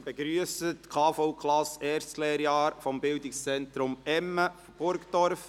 Ich begrüsse die KV-Klasse des ersten Lehrjahres des Bildungszentrums Emme, Burgdorf.